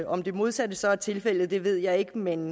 om det modsatte så er tilfældet ved jeg ikke men